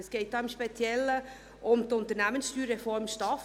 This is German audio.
Es geht hier im Speziellen um die Unternehmenssteuerreform STAF;